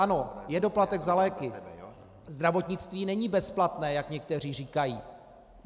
Ano, je doplatek za léky, zdravotnictví není bezplatné, jak někteří říkají.